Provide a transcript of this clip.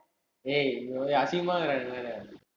ஏய் ஒரு அசிங்கமா இருக்குதுடா நீ வேற